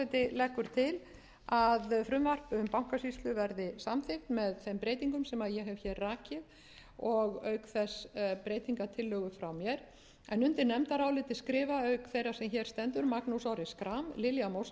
leggur til að frumvarp um bankasýslu verði samþykkt með þeim breytingum sem ég hef hér rakið og auk þess breytingartillögu frá mér undir nefndarálitið skrifa auk þeirrar sem hér stendur magnús orri schram lilja